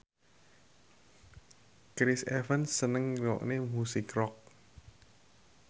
Chris Evans seneng ngrungokne musik rock